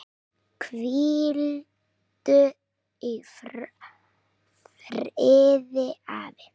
Hvíldu í friði, afi.